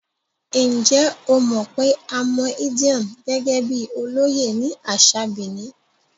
Ǹjẹ́ o mọ̀ pé a mọ Edion gẹ́gẹ́ bíi olóyè ní àṣà Benin?